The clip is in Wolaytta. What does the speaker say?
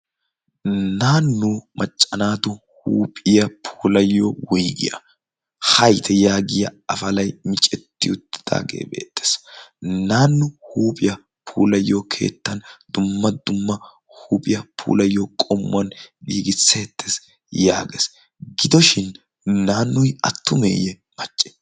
naainu maccanaatu huuphiya pulayyo woigiyaa haite yaagiya afalai micetti uttidaagee beettees naannu huuphiyaa puulayyo keettan dumma dumma huuphiyaa puulayyo qommuwan gigiseettees yaagees gidoshin naannui attumeeyye macce